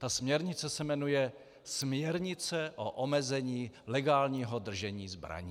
Ta směrnice se jmenuje "směrnice o omezení legálního držení zbraní".